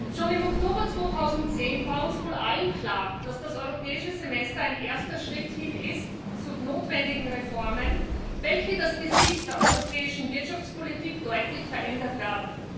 Schon im Oktober 2010 war uns wohl allen klar, dass das Europäische Semester ein erster Schritt hin zu notwendigen Reformen ist, welche das Gesicht der europäischen Wirtschaftspolitik deutlich verändern werden.